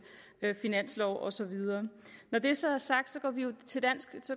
finanslov og så videre når det så er sagt